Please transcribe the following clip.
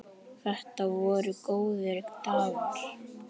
Þetta voru góðir dagar.